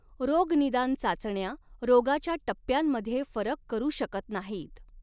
रोगनिदान चाचण्या रोगाच्या टप्प्यांमध्ये फरक करू शकत नाहीत.